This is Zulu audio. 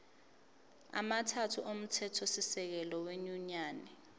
amathathu omthethosisekelo wenyunyane